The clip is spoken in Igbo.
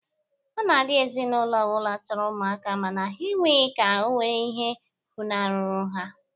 Ọ na-adị ezinaụlọ ọ bụla chọrọ ụmụaka mana ha enweghi ha ka o nwere ihe funahụrụ ha.